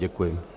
Děkuji.